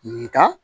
Nga